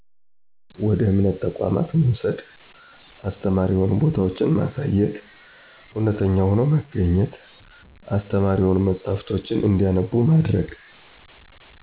ወደ እምነት ተቋማት መውሰድ፣ አስተማሪ የሆኑ ቦታወችማሳየት፣ እውነተኛ ሆኖ መገኝት፣ አስተማሪ የሆኑ መጸሐፍቶችን እንዲያነቡ ማድረግ።